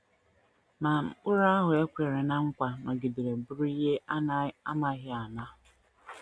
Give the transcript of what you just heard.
Ma, Mkpụrụ ahụ e kwere ná nkwa nọgidere bụrụ ihe a na - amaghị ama.